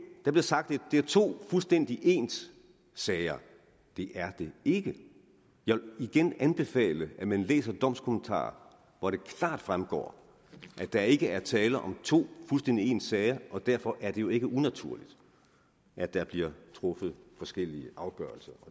der blev sagt at det er to fuldstændig ens sager det er det ikke jeg vil igen anbefale at man læser domskommentaren hvor det klart fremgår at der ikke er tale om to fuldstændig ens sager og derfor er det jo ikke unaturligt at der bliver truffet forskellige afgørelser